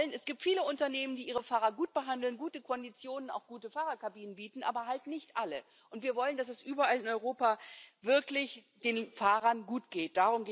Es gibt viele Unternehmen, die ihre Fahrer gut behandeln, gute Konditionen, auch gute Fahrerkabinen, bieten, aber halt nicht alle. Und wir wollen, dass es den Fahrern überall in Europa wirklich gut geht.